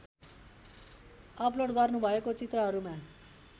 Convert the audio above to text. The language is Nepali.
अप्लोड गर्नुभएको चित्रहरूमा